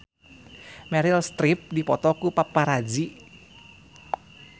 Meryl Streep dipoto ku paparazi